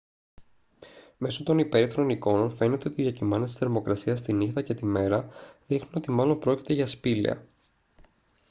μέσω των υπέρυθρων εικόνων φαίνεται ότι οι διακυμάνσεις της θερμοκρασίας τη νύχτα και τη μέρα δείχνουν ότι μάλλον πρόκειται για σπήλαια